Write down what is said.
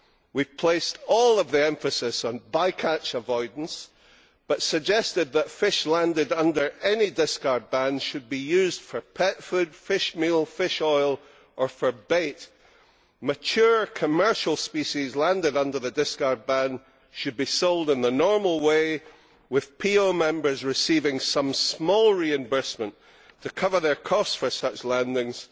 We have placed all of the emphasis on by catch avoidance, but suggested that fish landed under any discard ban should be used for pet food, fish meal, fish oil, or for bait. Mature commercial species landed under the discard ban should be sold in the normal way, with PO members receiving some small reimbursement to cover their costs for such landings,